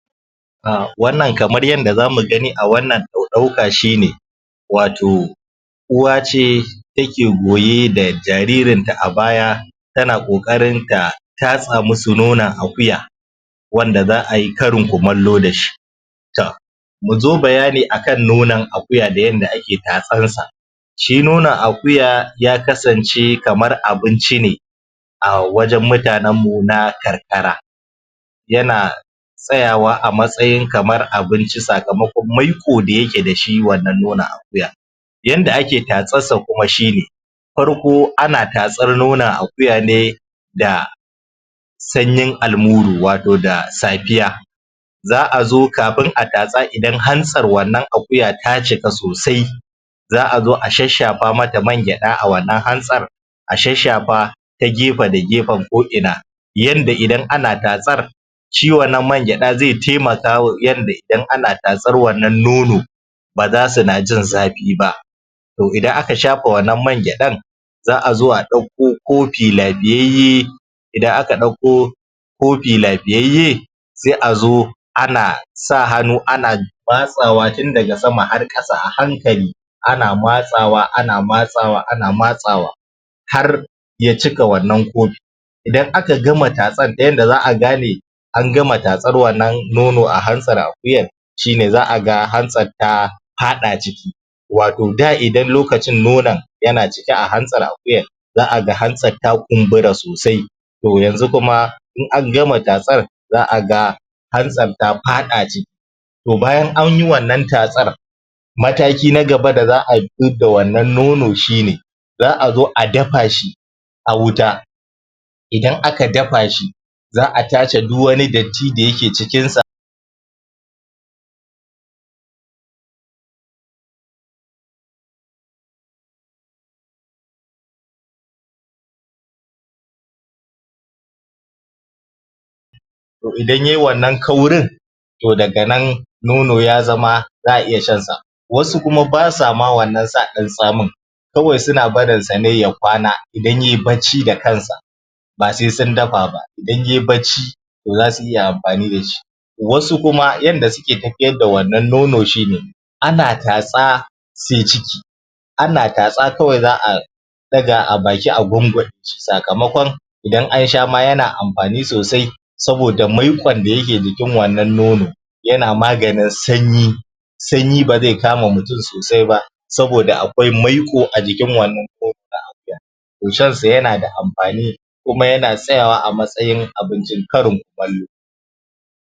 A wannan kamar yadda za mu gani a wanna mu ɗauka shine wato uwa ce take goye da jaririnta a baya, tana ƙoƙarin ta tatsa musu nonon akuya wanda za'a yi karin kumallo da shi. To, mu zo bayani akan nonon akuya da yadda ake tatson sa shi nonon akuya aya kasance kamar abince ne awajen murtanenmu na karkara. yana tsayawa a matsayin kamar abnci sakamakon maiƙo da yake da shi wannan nonon akuya. Yadda ake tatsarsa kuma shine, farko ana tatsar nonon akuya ne da sanyin almuru wato da safiya Za'a zo kafin a tatsa idan an hansar wannan akuya ta cika sosai za'a zo a shashshafa mata mangyaɗa a wannan hantsar, a shashshafa ta gefe da gefen ko'ina yadda idan ana tatsar, shi wannan mangyaɗa zai taimaka yadda idan ana tatsar wannn nono, ba za su na jin zafi ba. To idan aka sha wanna mangyaɗan za'a zo a ɗauko kofi l;afiyayye idan aka ɗauko kofi lafiyayye, sai a zo ana sa hannu ana matsawa tun daga sama har ƙasa a hankali, ana matsawa, ana matsawa, ana matsawa, har ya cika wannan kofi idan aka gama tatsar ta yadda za'a gane an gama tatsar wannan nono a hntsar akuyar shine za'a ga hantsar ta faɗa ciki, wato da idan lokacin nonon yana cike a hantsar akuyar, za'a ga hantsar ta kumbura sosai to yanzu kuma in an gama tatsar, za'a ga hantsar da faɗaciki to bayan anyi wannan tatsar mataki na gaba da za ayi, da wannan nono shine za'a zo a dafa shi, a wuta, idan aka dafa shi, za'a tace duk wani datti da yake cikinsa to idan yai wannan kauri to daga nan nono ya zama za'a iya shan sa. WAsu kuma ba sa ma sa wannan ɗan tsamin kawai suna barinsa ne ya kwana, idan yai bacci da kansa, ba sai sun dfa ba, idan yai bacci to za su iya amfani da shi. Wasu kuma yadda suke tafiyar da wannan nono shine, ana tatsa sai ciki, ana tatsa kawai za'a ɗaga a baki a gunguɗe sakamakon idan an sha ma yana amfani sosai, saboda maiƙon da yake jikin wannan nono. yana maganin sanyi, sanyi ba zai kama mutum sosai ba saboda akwai maiƙo a jikin wannan nono na akuya, to shansa yana da amfani kuma yana tsayawa a matsayin abincin karin kumallo.